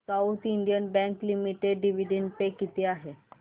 south Indian Bank Limited dividend pay किती आहे